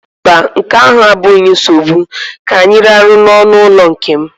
Mba, nke ahụ abụghị nsogbu, ka anyị rahụ n'ọnụụlọ nke m